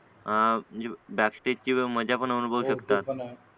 आ म्हणजे डार्क स्टेजची मजा पण अनुभवू शकतात